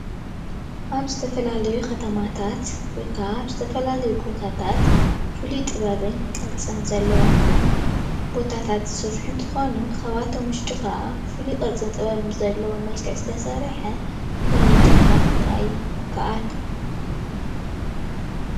ካብቶም ብዙሓት ናይ ኢድ ስራሕቲ ሓደ ዝኾነ ብፅርበት እምኒ ዝተመርሐ ደረጃን ምንፃፍ እምንን እዩ።